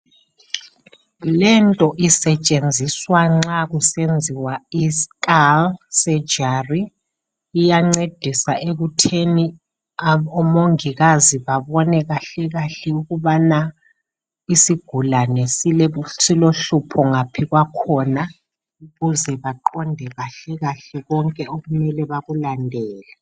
lento isetshenziswa nxa kusenziwa i skull surgery iyancedisa ekutheni omongikazi babone kahle kahle ukubana isigulane silohlupho ngaphi kwakhona ukuze baqonde kahle kahle konke okumele bakulandele